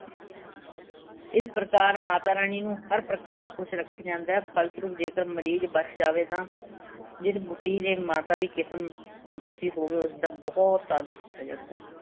ਇਸ ਪ੍ਰਕਾਰ ਮਾਤਾ ਰਾਣੀ ਨੂੰ ਹਰ ਪ੍ਰਕਾਰ ਖੁਸ਼ ਰੱਖਿਆਂ ਜਾਂਦਾ ਹੈ। ਫਲਸਰੂਪ ਜੇਕਰ ਮਰੀਜ਼ ਬੱਚ ਜਾਵੇ ਤਾਂ ਜਿਸ ਬੁੱਢੀ ਦੇ ਮਾਤਾ ਦੀ ਕਿਸਮ ਦੱਸੀ ਹੋਵੇ ਉਸਦਾ ਬਹੁਤ ਆਦਰ ਕੀਤਾ ਜਾਂਦਾ ਹੈ।